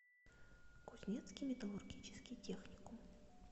кузнецкий металлургический техникум